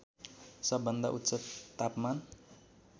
सबभन्दा उच्च तापमान